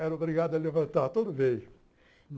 Era obrigado a levantar todo dia.